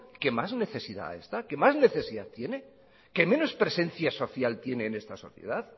que más necesidad tiene que menos presencial social en esta sociedad